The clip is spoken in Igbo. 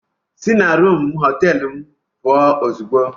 Sị na rumụ họteelu m puo ozugbo!